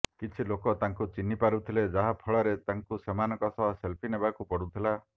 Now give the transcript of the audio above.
କିଛି ଲୋକ ତାଙ୍କୁ ଚିହ୍ନିପାରୁଥିଲେ ଯାହାଫଳରେ ତାଙ୍କୁ ସେମାନଙ୍କ ସହ ସେଲ୍ଫି ନେବାକୁ ପଡ଼ୁଥିଲା